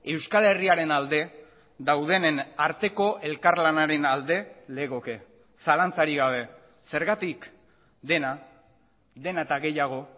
euskal herriaren alde daudenen arteko elkarlanaren alde legoke zalantzarik gabe zergatik dena dena eta gehiago